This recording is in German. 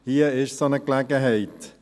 Hier bietet sich eine solche Gelegenheit.